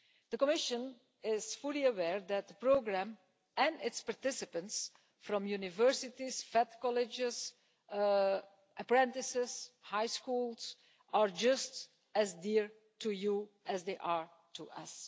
The Commission is fully aware that the programme and its participants from universities, FET colleges, apprentices and high schools, are just as dear to you as they are to us.